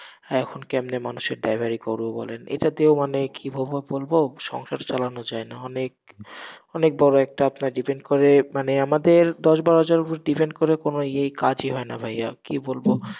এখন কেমনে মানুষের driver ই করবো বলেন, এটা দিয়েও মানে কিভাবে বলবো, সংসার চালানো যায়না, অনেক, অনেক বড় একটা আপনার depend করে, মানে আমাদের দশ বারো হাজারের উপর depend করে কোন ইয়েই, কাজই হয়না ভাইয়া, কি বলবো,